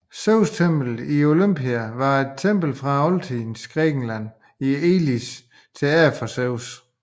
Zeustemplet i Olympia var et tempel fra oldtidens Grækenland i Elis til ære for Zeus